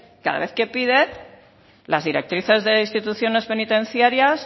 cada vez que pide las directrices de instituciones penitenciarias